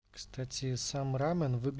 кстати самара